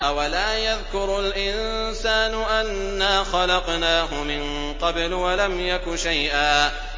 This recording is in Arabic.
أَوَلَا يَذْكُرُ الْإِنسَانُ أَنَّا خَلَقْنَاهُ مِن قَبْلُ وَلَمْ يَكُ شَيْئًا